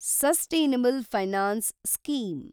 sustainable finance scheme